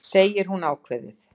segir hún ákveðin.